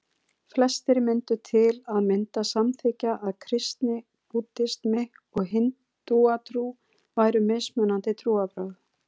Flestir myndu til að mynda samþykkja að kristni, búddismi og hindúatrú væru mismunandi trúarbrögð.